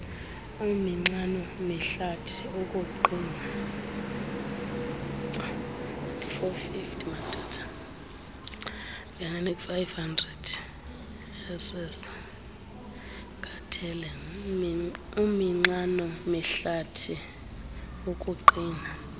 uminxano mihlathi ukuqina